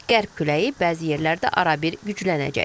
Qərb küləyi bəzi yerlərdə arabir güclənəcək.